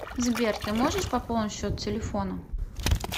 сбер ты можешь пополнить счет телефона